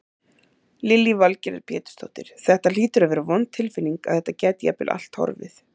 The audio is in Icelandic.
Lillý Valgerður Pétursdóttir: Þetta hlýtur að vera vond tilfinning að þetta gæti jafnvel allt horfið?